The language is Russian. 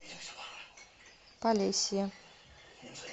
полесье